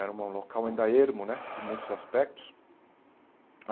Era um um local ainda ermo né, de muitos aspectos.